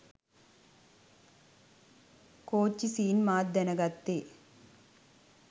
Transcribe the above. කෝච්චි scene මාත් දැනගත්තෙ